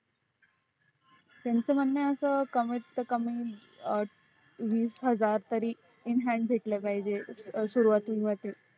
त्यांच म्हणण आस आहे कमीत कमी वीस हजार तरी in hand भेटल पाहिजे